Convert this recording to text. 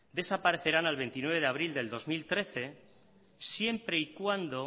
desaparecerán al veintinueve de abril del dos mil trece siempre y cuando